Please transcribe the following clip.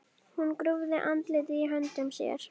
Hún grúfði andlitið í höndum sér.